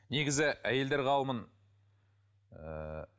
негізі әйелдер қауымын ыыы